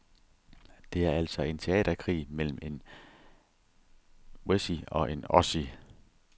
Det er altså en teaterkrig mellem en wessie og en ossie.